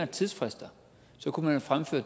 tidsfristen